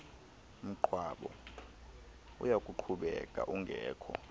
mngcwabo uyakuqhubeka ungekho